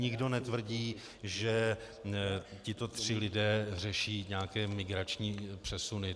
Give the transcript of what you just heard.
Nikdo netvrdí, že tito tři lidé řeší nějaké migrační přesuny.